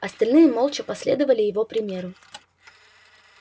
остальные молча последовали его примеру